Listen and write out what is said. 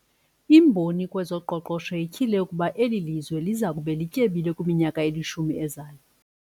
Imboni kwezoqoqosho ityhile ukuba eli lizwe liya kuba lityebile kwiminyaka elishumi ezayo.